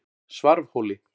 Svarfhóli